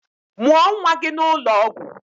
Mụọ nwa gị n'ụlọ ọgwụ!